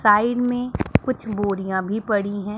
Side में कुछ बोरियां भी पड़ी हैं।